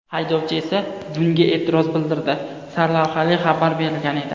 Haydovchi esa bunga e’tiroz bildirdi” sarlavhali xabar berilgan edi .